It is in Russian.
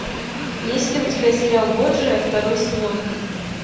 есть ли у тебя сериал борджиа второй сезон